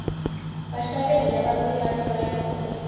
bahlabeli labasikati bayacule